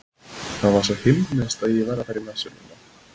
Það var svo himneskt að ég verð að fara í messu núna.